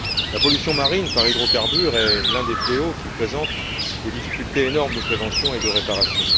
La pollution marine par hydrocarbures est l'un des fléaux qui présentent des difficultés énormes de prévention et de réparation.